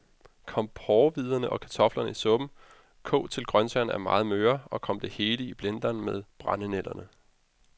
Kom porrehvider og kartofler i suppen, kog til grøntsagerne er meget møre, og kom det hele i blenderen med brændenælderne.